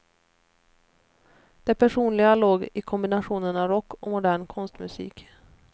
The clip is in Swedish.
Det personliga låg i kombinationen av rock och modern konstmusik.